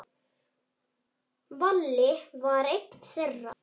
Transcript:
Valli var einn þeirra.